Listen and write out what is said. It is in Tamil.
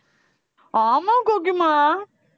ஆமா கோகிமா